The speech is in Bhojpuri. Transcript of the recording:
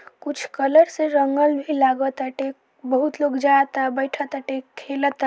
कुछ कलर्स से रंगल भी लाग ताटे बहुत लोग जाता बैठताटे खेलता।